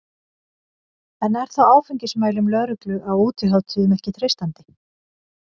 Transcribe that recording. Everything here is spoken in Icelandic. En er þá áfengismælum lögreglu á útihátíðum ekki treystandi?